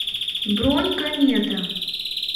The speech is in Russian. бронь комета